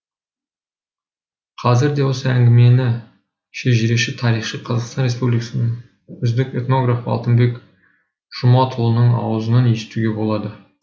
қазір де осы әнгімені шежіреші тарихшы қазақстан республикасының үздік этнографы алтынбек жұматұлының ауызынан естуге болады